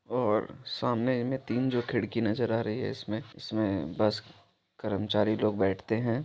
और सामने मे तीन जो खिड़की नजर आ रही है इसमे इसमे बस करमचारी लोग बैठते है।